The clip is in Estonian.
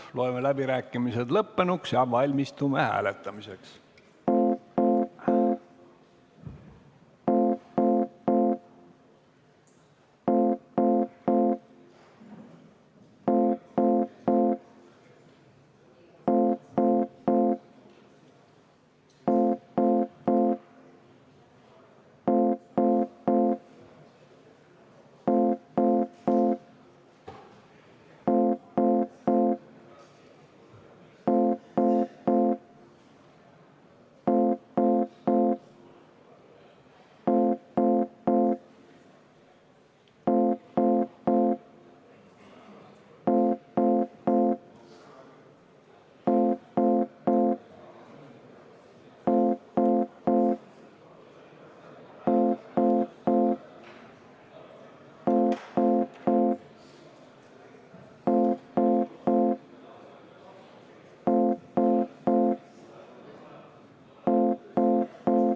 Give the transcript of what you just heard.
Loeme läbirääkimised lõppenuks ja valmistume hääletamiseks.